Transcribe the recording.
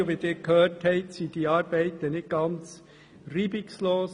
Wie Sie gehört haben, verliefen diese Arbeiten nicht ganz reibungslos.